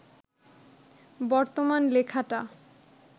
বর্তমান লেখাটা